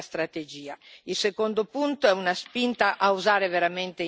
Il secondo punto è una spinta a usare veramente insieme i fondi.